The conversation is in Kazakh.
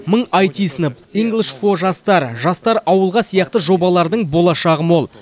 мың ай ти сынып инглиш фо жастар жастар ауылға сияқты жобалардың болашағы мол